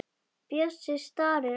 Bjössi starir á hana.